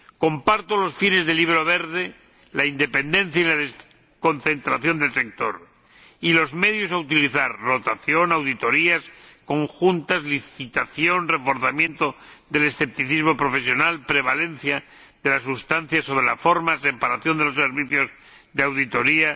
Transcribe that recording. Comparto los fines del Libro Verde, la independencia y la desconcentración del sector, y los medios a utilizar rotación, auditorías conjuntas, licitación, reforzamiento del escepticismo profesional, prevalencia de las sustancias sobre la forma, separación de los servicios de auditoría